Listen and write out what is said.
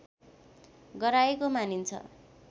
गराएको मानिन्छ